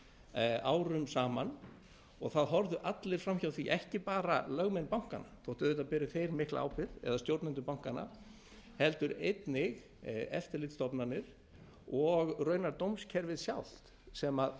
virt árum saman og það horfðu allir fram hjá því ekki bara lögmenn bankanna þótt auðvitað beri þeir mikla ábyrgð eða stjórnendur bankanna heldur einnig eftirlitsstofnanir og raunar dómskerfið sjálft sem